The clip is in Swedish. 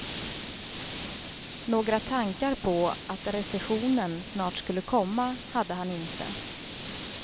Några tankar på att recessionen snart skulle komma hade han inte.